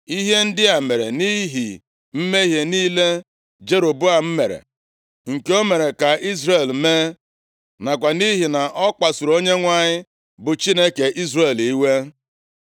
Ihe ndị a mere nʼihi mmehie niile Jeroboam mere, nke o mere ka Izrel mee, nakwa nʼihi na ọ kpasuru Onyenwe anyị, bụ Chineke Izrel iwe.